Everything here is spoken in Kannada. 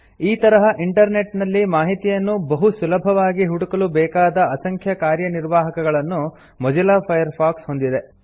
ಈ ತರಹ ಇಂಟರ್ ನೆಟ್ ನಲ್ಲಿ ಮಾಹಿತಿಯನ್ನು ಬಹು ಸುಲಭವಾಗಿ ಹುಡುಕಲು ಬೇಕಾದ ಅಸಂಖ್ಯ ಕಾರ್ಯನಿರ್ವಾಹಕಗಳನ್ನು ಮೊಜಿಲ್ಲಾ ಫೈರ್ಫಾಕ್ಸ್ ಹೊಂದಿದೆ